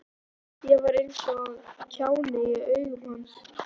Ég var eins og kjáni í augum hans.